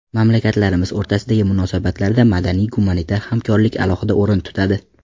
Mamlakatlarimiz o‘rtasidagi munosabatlarda madaniy-gumanitar hamkorlik alohida o‘rin tutadi.